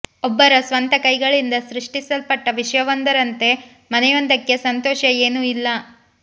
ಒಬ್ಬರ ಸ್ವಂತ ಕೈಗಳಿಂದ ಸೃಷ್ಟಿಸಲ್ಪಟ್ಟ ವಿಷಯವೊಂದರಂತೆ ಮನೆಯೊಂದಕ್ಕೆ ಸಂತೋಷ ಏನೂ ಇಲ್ಲ